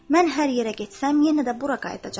Mən hər yerə getsəm, yenə də bura qayıdacağam.